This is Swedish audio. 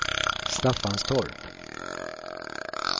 Staffanstorp